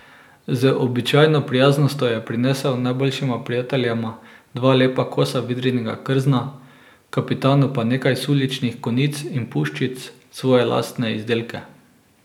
Z običajno prijaznostjo je prinesel najboljšima prijateljema dva lepa kosa vidrinega krzna, kapitanu pa nekaj suličnih konic in puščic, svoje lastne izdelke.